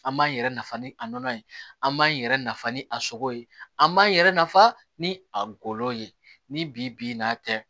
An b'an yɛrɛ nafa ni a nɔnɔ ye an b'an yɛrɛ nafa ni a sogo ye an b'an yɛrɛ nafa ni a golo ye ni bi n'a tɛ